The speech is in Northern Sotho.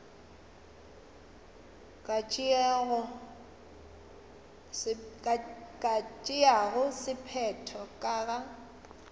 ka tšeago sephetho ka ga